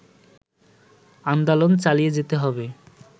আন্দোলন চালিয়ে যেতে হবে